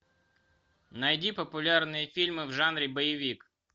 найди популярные фильмы в жанре боевик